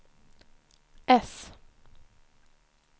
äss